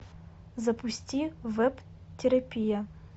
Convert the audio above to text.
запусти веб терапия